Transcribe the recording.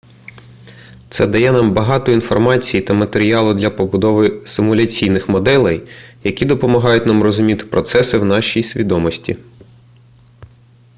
це дає нам багато інформації та матеріалу для побудови симуляційних моделей які допомагають нам зрозуміти процеси в нашій свідомості